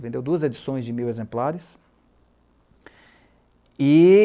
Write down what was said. Vendeu duas edições de mil exemplares.